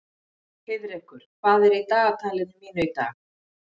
Heiðrekur, hvað er í dagatalinu mínu í dag?